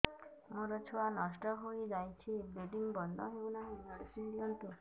ମୋର ଛୁଆ ନଷ୍ଟ ହୋଇଯାଇଛି ବ୍ଲିଡ଼ିଙ୍ଗ ବନ୍ଦ ହଉନାହିଁ ମେଡିସିନ ଦିଅନ୍ତୁ